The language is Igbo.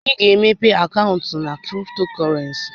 Ị ga-emepe akaụntụ na kriptokọrensi?